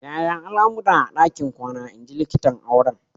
Yaya al'amura a ɗakin kwana?" in ji likitan auren.